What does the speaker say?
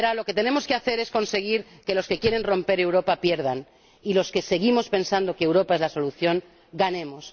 Verá, lo que tenemos que hacer es conseguir que los que quieren romper Europa pierdan y que los que seguimos pensando que Europa es la solución ganemos.